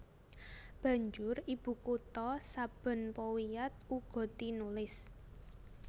Banjur ibukutha saben powiat uga tinulis